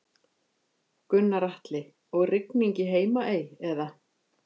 Gunnar Atli: Og rigning í Heimaey eða?